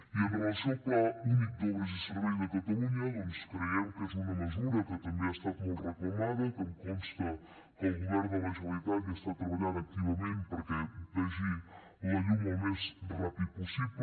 i amb relació al pla únic d’obres i serveis de catalunya doncs creiem que és una mesura que també ha estat molt reclamada que em consta que el govern de la generalitat hi està treballant activament perquè vegi la llum al més ràpid possible